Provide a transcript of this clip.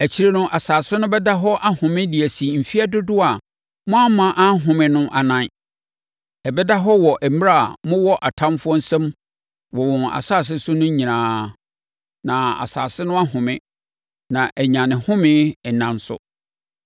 Akyire no, asase no bɛda hɔ ahome de asi mfeɛ dodoɔ a moamma anhome no anan; ɛbɛda hɔ wɔ mmerɛ a mowɔ atamfoɔ nsam wɔ wɔn nsase so no nyinaa. Na asase no ahome, na anya ne home nna nso.